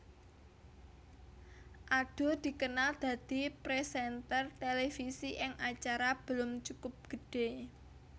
Adul dikenal dadi présènter televisi ing acara Belum Cukup Gede